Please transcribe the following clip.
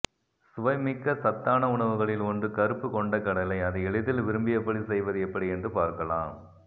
சுவைமிக்க சத்தான உணவுகளில் ஒன்று கருப்பு கொண்டைக்கடலை அதை எளிதில் விரும்பியபடி செய்வது எப்படி என்று பார்க்கலாம்